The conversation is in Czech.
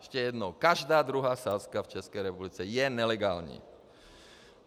- Ještě jednou: každá druhá sázka v České republice je nelegální.